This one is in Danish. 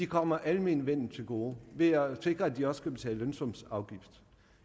kommer almenvellet til gode ved at sikre at de også skal betale lønsumsafgift